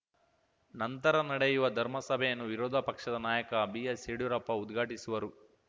ನಂತರ ನಡೆಯುವ ಧರ್ಮ ಸಭೆಯನ್ನು ವಿರೋಧ ಪಕ್ಷದ ನಾಯಕ ಬಿಎಸ್‌ಯಡ್ಯೂರಪ್ಪ ಉದ್ಘಾಟಿಸುವರು